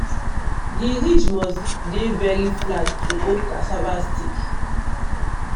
the ridge must dey very flat to hold cassava stick.